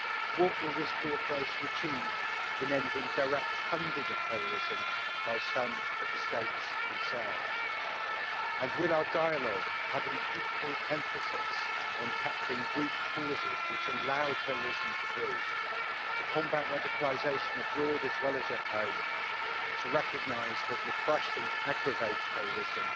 What will this cooperation achieve in ending the direct funding of terrorism by some of the states themselves, and will our dialogue have an equal emphasis on tackling root causes which allow terrorism to breed, to combat radicalisation abroad as well as at home, to recognise that repression aggravates terrorism,